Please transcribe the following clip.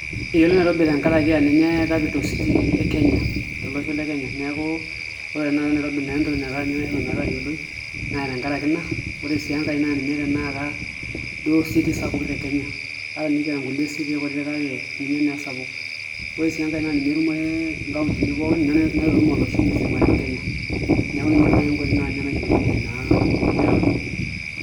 Eyioloi Nairobi tenkaraki aa ninye capital city e Kenya tolosho le Kenya, neeku ore naa Nairobi naa entoki naitaa metayioloi naa tenkaraki ina ore sii enkae naa ninye duo tanakata city sapuk te Kenya ata enikiata nkulie city kutitik kake ninye naa esapuk, ore sii enkae naa ninye etumore nkauntini pookin ninye naitutum olosho msima le Kenya neeku ninye eyiolounyieki naa Nairobi.